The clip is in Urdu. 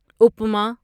اُپما